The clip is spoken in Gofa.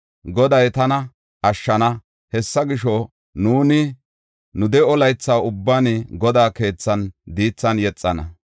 Goday tana ashshana; hessa gisho, nuuni nu de7o laytha ubban, Godaa keethan diithan yexana.